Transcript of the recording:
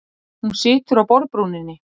Hún situr á borðbrúninni.